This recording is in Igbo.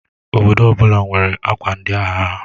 Obodo ọbụla nwere akwa ndi agha ha.